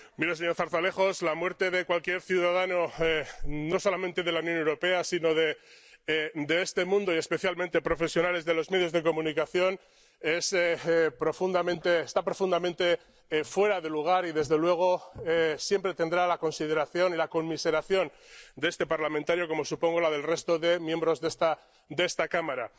Mire, señor Zarzalejos, la muerte de cualquier ciudadano, no solamente de la Unión Europea, sino de este mundo y, especialmente, profesionales de los medios de comunicación, está profundamente fuera de lugar y, desde luego, siempre tendrá la consideración y la conmiseración de este parlamentario, como supongo la del resto de miembros de esta de esta Cámara.